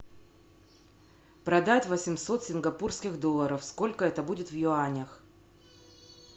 продать восемьсот сингапурских долларов сколько это будет в юанях